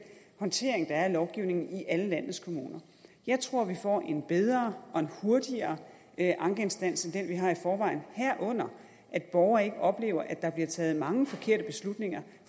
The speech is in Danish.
håndtering der er af lovgivningen i alle landets kommuner jeg tror vi får en bedre og en hurtigere ankeinstans end den vi har i forvejen herunder at borgere ikke oplever at der bliver taget mange forkerte beslutninger